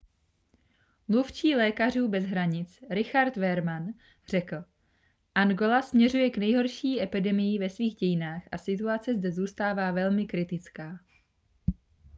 mluvčí lékařů bez hranic richard veerman řekl angola směřuje k nejhorší epidemii ve svých dějinách a situace zde zůstává velmi kritická